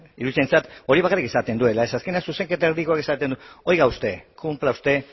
iruditzen zait hori bakarrik esaten duela azkenean zuzenketa erdikoak esaten du oiga usted cumpla usted